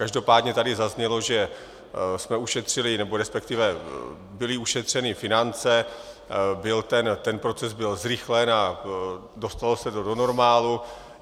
Každopádně tady zaznělo, že jsme ušetřili - nebo respektive byly ušetřeny finance, ten proces byl zrychlen a dostalo se to do normálu.